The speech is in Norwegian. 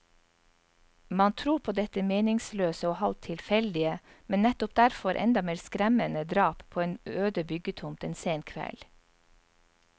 Man tror på dette meningsløse og halvt tilfeldige, men nettopp derfor enda mer skremmende drap på en øde byggetomt en sen kveld.